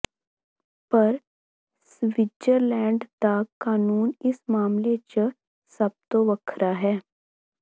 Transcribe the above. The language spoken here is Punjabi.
ਪਰ ਸਵਿਟਜਰਲੈਂਡ ਦਾ ਕਾਨੂੰਨ ਇਸ ਮਾਮਲੇ ਚ ਸਭਤੋਂ ਵੱਖਰਾ ਹੈ